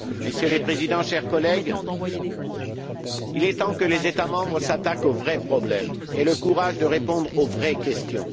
Messieurs les Présidents, chers collègues, il est temps que les États membres s'attaquent aux vrais problèmes et aient le courage de répondre aux vraies questions.